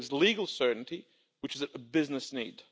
It brings legal certainty, which is a business need.